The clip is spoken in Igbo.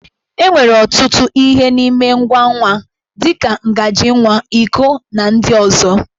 E nwere ọtụtụ ihe n'ime ngwa nwa, dị ka ngaji nwa, iko, na ndị ọzọ.